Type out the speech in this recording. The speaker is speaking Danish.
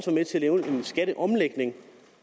med til at lave en skatteomlægning